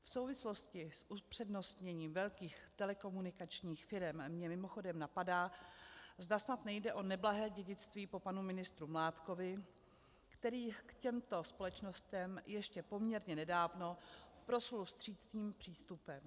V souvislosti s upřednostněním velkých telekomunikačních firem mě mimochodem napadá, zda snad nejde o neblahé dědictví po panu ministru Mládkovi, který k těmto společnostem ještě poměrně nedávno proslul vstřícným přístupem.